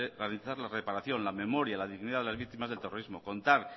garantizar la reparación la memoria la dignidad de las víctimas del terrorismo contar